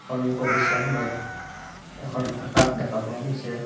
সন্মুখৰ দৃশ্যখনত এখন আকাশ দেখা পোৱা গৈছে।